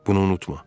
Bunu unutma.